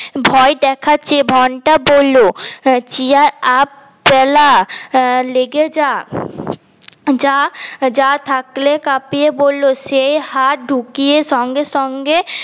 ভয় দেখাচ্ছে ঘন্টা বললো cheer up প্যালা লেগে যা যা যা থাকলে কাঁপিয়ে বললো সে হাত ঢুকিয়ে সঙ্গে সঙ্গে